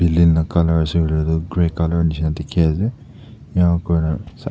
building la colour ase kuileh tu grey colour nishina dikhi ase inaikurina.